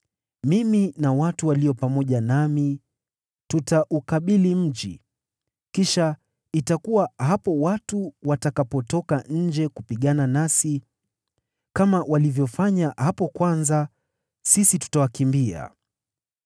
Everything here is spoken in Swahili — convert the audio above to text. Mimi na watu walio pamoja nami, tutaukabili mji, kisha itakuwa hapo watu watakapotoka nje kupigana nasi, kama walivyofanya hapo kwanza, sisi tutawakimbia.